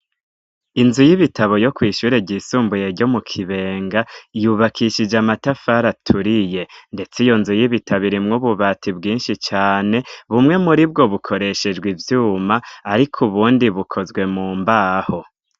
Inzu y'ibitabo yo kwishyure ry isumbuye ryo mu Kibenga yubakishije amatafari aturiye, ndetse iyo nzu y'ibitabo irimwo ububati bwinshi cane bumwe muri bwo bukoreshejwe ivyuma ariko ubundi bukozwe mu mbaho.